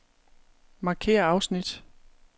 Markér afsnit.